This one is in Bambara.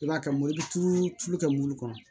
I b'a kɛ i bɛ tulu tulu kɛ mobili kɔnɔ